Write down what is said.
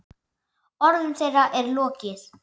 Orðum þeirra er lokið.